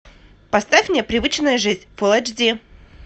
поставь мне привычная жизнь фул эйч ди